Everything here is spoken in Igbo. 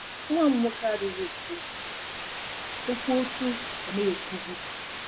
“Nwa m nwoke adịghị ekwu okwu okwu otú ọ na-ekwubu.